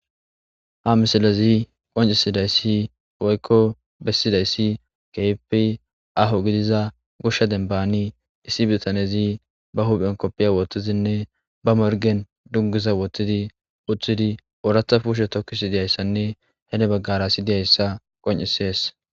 Ha misilezi qoncisidayssi woykko bessidayssi kepi aho gidiza gushsha dembani issi bitanezi ba huphen koppiya wootizinne ba morgen dunguza woottidi uththidi ooratha puushe tokkisi diyayssanne hele baggara si diyayssa qoncisees.